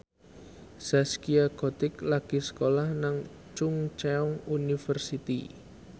Zaskia Gotik lagi sekolah nang Chungceong University